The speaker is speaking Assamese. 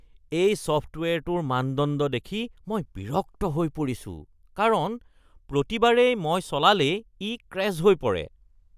এই ছফ্টৱেৰটোৰ মানদণ্ড দেখি মই বিৰক্ত হৈ পৰিছো কাৰণ প্ৰতিবাৰেই মই চলালেই ই ক্ৰেশ্ব হৈ পৰে।